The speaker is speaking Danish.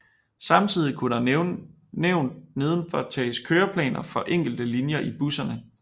Samtidig kunne der som nævnt nedenfor tages køreplaner for enkelte linjer i busserne